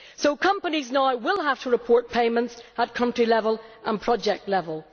So companies now will have to report payments at country level and project level.